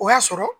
O y'a sɔrɔ